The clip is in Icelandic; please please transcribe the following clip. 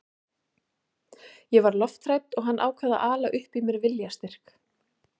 Ég var lofthrædd og hann ákvað að ala upp í mér viljastyrk.